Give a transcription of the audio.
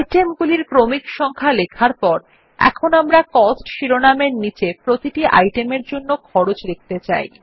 item গুলির ক্রমিক সংখ্যা লেখার পর আমরা এখন কস্ট শিরোনাম এর নীচে প্রতিটি আইটেমের জন্য খরচ লিখতে চাই